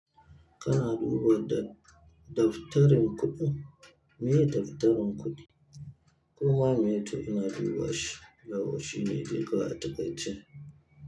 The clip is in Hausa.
Kana duba daftarin kuɗi? Maye daftarin kuɗi. Kuma meye too ina dubawa shi, daman shi ne dai kawai a tuƙa ice.